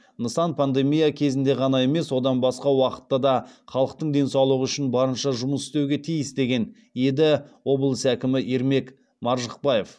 нысан пандемия кезінде ғана емес одан басқа уақытта да халықтың денсаулығы үшін барынша жұмыс істеуге тиіс деген еді облыс әкімі ермек маржықпаев